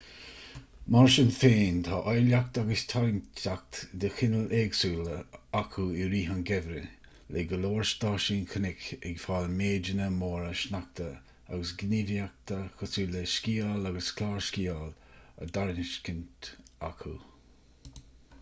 mar sin féin tá áilleacht agus tarraingteacht de chineál éagsúil acu i rith an gheimhridh le go leor stáisiún cnoic ag fáil méideanna móra sneachta agus gníomhaíochtaí cosúil le sciáil agus clársciáil á dtairiscint acu